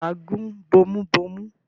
ǹjẹ́ wà á gún bomubómú?